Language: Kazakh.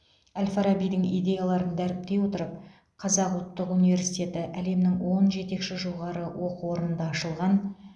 әл фарабидің идеяларын дәріптей отырып қазақ ұлттық университеті әлемнің он жетекші жоғары оқу орнында ашылған